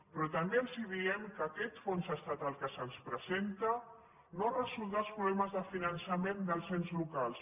però també els diem que aquest fons estatal que se’ns presenta no resoldrà els problemes de finançament dels ens locals